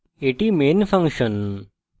এটি main function